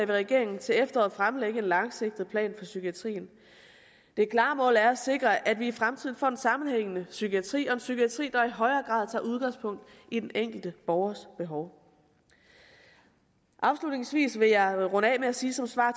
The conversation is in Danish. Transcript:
regeringen til efteråret fremlægge en langsigtet plan for psykiatrien det klare mål er at sikre at vi i fremtiden får en sammenhængende psykiatri og en psykiatri der i højere grad tager udgangspunkt i den enkelte borgers behov afslutningsvis vil jeg runde af med at sige som svar